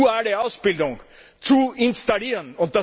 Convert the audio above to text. die duale Ausbildung zu installieren.